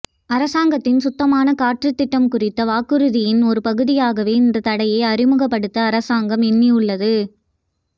அரசாங்கத்தின் சுத்தமான காற்று திட்டம் குறித்த வாக்குறுதியின் ஓரு பகுதியாகவே இந்த தடையை அறிமுகப்படுத்த அரசாங்கம் எண்ணியுள்ளது